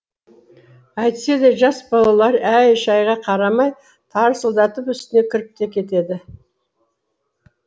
әйтсе де жас балалары әй шайға қарамай тарсылдатып үстіне кіріп те кетеді